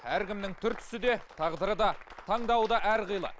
әркімнің түр түсі де тағдыры да таңдауы да әрқилы